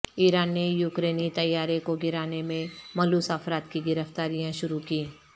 ایران نے یوکرینی طیارے کو گرانے میں ملوث افراد کی گرفتاریاں شروع کی